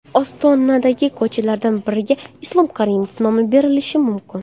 Ostonadagi ko‘chalardan biriga Islom Karimov nomi berilishi mumkin.